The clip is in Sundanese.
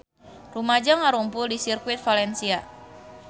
Rumaja ngarumpul di Sirkuit Valencia